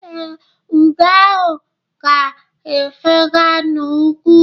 Ee, ugo ahụ ga-efega n’ugwu.